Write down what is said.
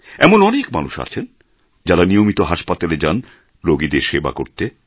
এমন অনেক মানুষ আছেন যাঁরা নিয়মিত হাসপাতালে যান রুগীদের সেবা করতে